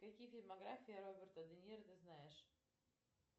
какие фильмография роберта де ниро ты знаешь